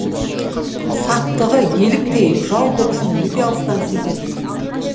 сақтығы еліктей жау дыбысын өте алыстан сезеді